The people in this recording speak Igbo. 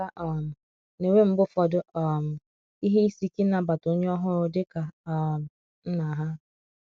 ụmụaka um na-enwe mgbe ụfọdụ um ihe ịsị ike ịna bata onye ọhuru di ka um nna ha